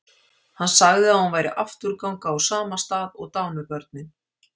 Hann sagði að hún væri afturganga úr sama stað og dánu börnin.